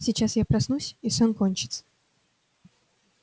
сейчас я проснусь и сон кончится